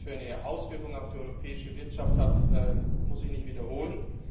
Was das für eine Auswirkung auf die europäische Wirtschaft hat, muss ich nicht wiederholen.